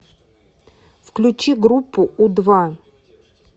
включи группу у два